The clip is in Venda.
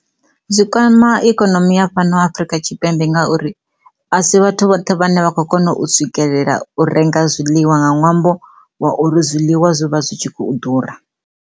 Zwi kwama ikonomi ya Afurika Tshipembe ngauri a si vhathu vhoṱhe vhane vha kho kona u swikelela u renga zwiḽiwa nga ṅwambo wa uri zwiḽiwa zwi vha zwi tshi khou ḓura.